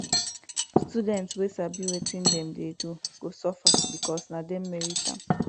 student wey sabi wetin dem dey do go suffer because na dem merit am